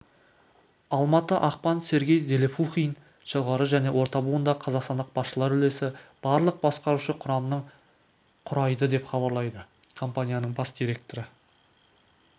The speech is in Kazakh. алматы ақпан сергей зелепухин жоғары және орта буындағы қазақстандық басшылар үлесі барлық басқарушы құрамның құрайды деп хабарлайды компанияның бас директоры